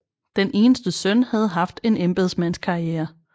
Den eneste søn havde haft en embedsmandskarriere